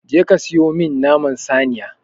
Je ka siyo min naman saniya!